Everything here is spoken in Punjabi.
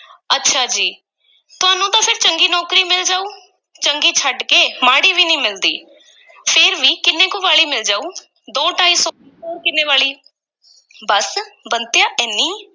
ਅੱਛਾ ਜੀ, ਤੁਹਾਨੂੰ ਤਾਂ ਫੇਰ ਚੰਗੀ ਨੌਕਰੀ ਮਿਲ ਜਾਊ, ਚੰਗੀ ਛੱਡ ਕੇ ਮਾੜੀ ਵੀ ਨਹੀਂ ਮਿਲਦੀ, ਫੇਰ ਵੀ ਕਿੰਨੇ ਕੁ ਵਾਲੀ ਮਿਲ ਜਾਊ ਦੋ-ਢਾਈ ਸੌ, ਹੋਰ ਕਿੰਨੇ ਵਾਲੀ ਬੱਸ, ਬੰਤਿਆ, ਏਨੀ